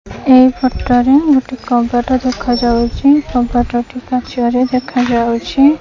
ଏ ଫଟରେ ଗୋଟେ କବାଟ ଦେଖାଯାଉଚି କବାଟଟି କାଚରେ ଦେଖାଯାଉଚି।